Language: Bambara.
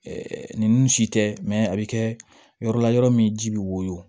nin nun ci tɛ a bɛ kɛ yɔrɔ la yɔrɔ min ji bɛ woyɔ